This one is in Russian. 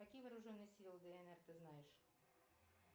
какие вооруженные силы днр ты знаешь